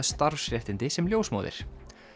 starfsréttindi sem ljósmóðir